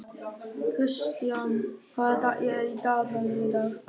Kristian, hvað er í dagatalinu í dag?